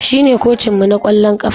Shine kocinmu na kwallon kafa.